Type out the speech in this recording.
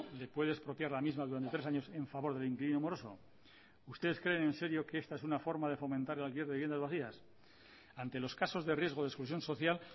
lo puede expropiar la misma durante tres años en favor del inquilino moroso ustedes creen en serio que esta es una forma de fomentar el alquiler de viviendas vacías ante los casos de riesgo de exclusión social